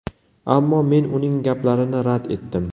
Ammo men uning gaplarini rad etdim.